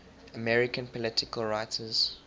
american political writers